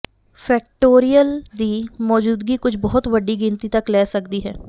factorial ਦੀ ਮੌਜੂਦਗੀ ਕੁਝ ਬਹੁਤ ਵੱਡੀ ਗਿਣਤੀ ਤੱਕ ਲੈ ਸਕਦੀ ਹੈ